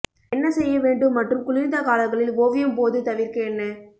என்ன செய்ய வேண்டும் மற்றும் குளிர்ந்த காலங்களில் ஓவியம் போது தவிர்க்க என்ன